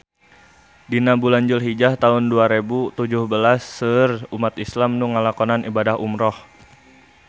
Dina bulan Julhijah taun dua rebu tujuh belas seueur umat islam nu ngalakonan ibadah umrah